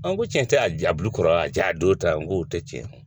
Ɔn n ko cɛn tɛ a jabu kɔrɔ a jaa don ta n ko o tɛ tiɲɛ ye.